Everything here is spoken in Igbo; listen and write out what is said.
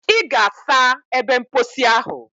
Ị ga-asa ebe mposi ahụ.